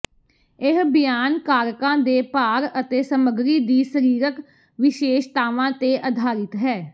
ਇਹ ਬਿਆਨ ਕਾਰਕਾਂ ਦੇ ਭਾਰ ਅਤੇ ਸਮਗਰੀ ਦੀ ਸਰੀਰਕ ਵਿਸ਼ੇਸ਼ਤਾਵਾਂ ਤੇ ਆਧਾਰਿਤ ਹੈ